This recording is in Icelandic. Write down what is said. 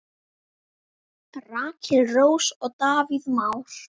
Rakel Rós og Davíð Már.